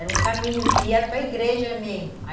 Era um caminho que ia para igreja mesmo.